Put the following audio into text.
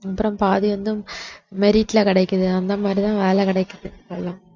அப்புறம் பாதி வந்து merit ல கிடைக்குது அந்த மாதிரிதான் வேலை கிடைக்குது இப்பெல்லாம்